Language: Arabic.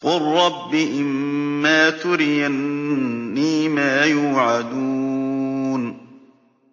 قُل رَّبِّ إِمَّا تُرِيَنِّي مَا يُوعَدُونَ